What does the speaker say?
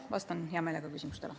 Vastan hea meelega küsimustele.